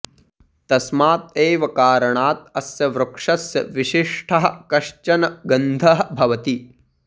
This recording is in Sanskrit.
तस्मात् एव कारणात् अस्य वृक्षस्य विशिष्टः कश्चन गन्धः भवति